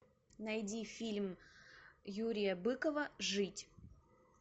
найди фильм юрия быкова жить